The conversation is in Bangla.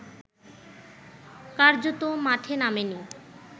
কার্যত মাঠে নামেনি